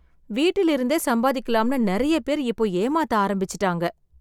வீட்டிலிருந்தே சம்பாதிக்கலாம்னு நிறைய பேர் இப்போ ஏமாத்த ஆரம்பிச்சிட்டாங்க.